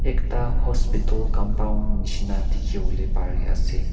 ekta hospital compound nishina dikhiwole pari ase.